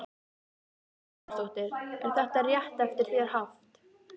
Karen Kjartansdóttir: Er þetta rétt eftir þér haft?